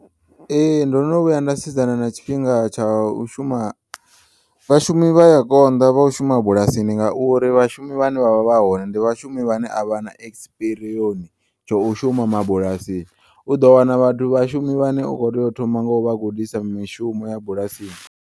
Ee, ndono vhuya nda sedzana na tshifhinga tsha u shuma vhashumi vhaya konḓa vha u shuma bulasini nga uri vhashumi vhane vha vha vhahone ndi vhashumi vhane a vhana ekspiriyoni tsho u shuma mabulasini uḓo wana vhathu vhashumi vhane u kho teya u thoma ngo vha gudisa mishumo ya bulasini.